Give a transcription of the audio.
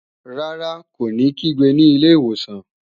Rárá, kó ní kígbe ní ilé ìwòsàn